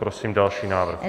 Prosím další návrh.